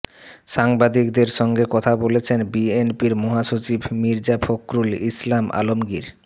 সাংবাদিকদের সঙ্গে কথা বলছেন বিএনপির মহাসচিব মির্জা ফখরুল ইসলাম আলমগীর